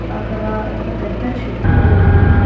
అక్కడ ఒక పెద్ద చెట్టు ఉంది.